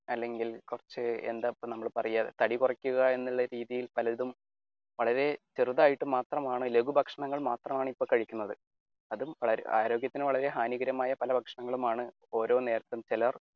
അല്ലെങ്കിൽ കുറച്ചു എന്താ നമ്മൾ ഇപ്പൊ പറയുക തടി കുറയ്ക്കുക എന്നുള്ള രീതിയിൽ പലതും വളരെ ചെറുതായിട്ട് മാത്രമാണ് ലഖുഭക്ഷണങ്ങൾ മാത്രമാണ് ഇപ്പൊ കഴിക്കുന്നത്. അതും ആരോഗ്യത്തിന് വളരെ ഹാനികരമായ പല ഭക്ഷണങ്ങളുമാണ് ഓരോ നേരത്തും ചിലർ